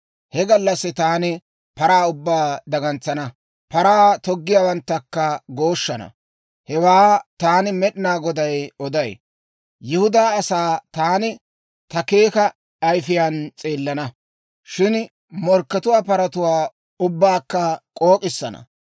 He gallassi taani paraa ubbaa dagantsana; paraa toggiyaawanttakka gooshshana. Hewaa taani Med'inaa Goday oday. Yihudaa asaa taani ta keeka ayifiyaan s'eelana; shin morkkatuwaa paratuwaa ubbaakka k'ook'issana.